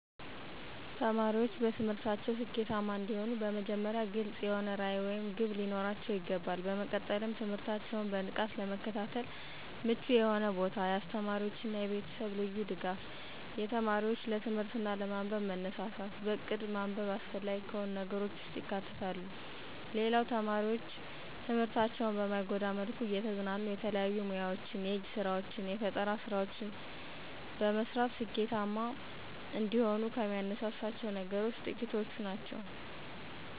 ተማሪዎች በትምህርታቸው ስኬታማ እንዲሆኑ በመጀመሪያ ግልፅ የሆነ ራዕይ ወይም ግብ ሊኖራቸው ይገባል። በመቀጠልም ትምህርታቸውን በንቃት ለመከታተል ምቹ የሆነ ቦታ፣ የአስተማሪዎች እና የቤተሰብ ልዩ ድጋፍ፣ የተማሪው ለትምህርት እና ለማንበብ መነሳሳት፣ በእቅድ ማንበብ አስፈላጊ ከሆኑ ነገሮች ውስጥ ይካተታሉ። ሌላው ተማሪዎች ትምህርታቸውን በማይጎዳ መልኩ እየተዝናኑ የተለያዩ ሙያወችን፣ የእጅ ስራወችን፣ ፈጠራወችን መስራት ስኬታማ እንደሆኑ ከሚያነሳሳቸው ነገሮች ጥቂቶቹ ናቸው።